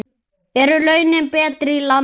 Eru launin betri í landi?